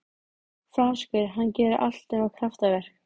Franskur, hann gerir allt nema kraftaverk.